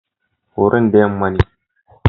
Horon da yamma ne.